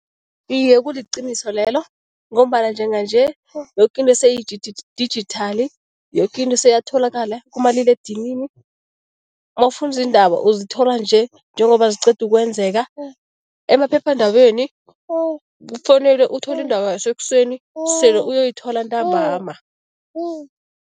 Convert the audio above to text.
Iye, kuliqiniso lelo ngombana njenganje yokinto seyidijithali, yoke into seyatholakala kumaliledinini. Mawufuna izindaba uzithola nje njengoba ziqeda ukwenzeka, emaphephandabeni kufanele uthole indaba yasekuseni sele uyoyithola ntambama.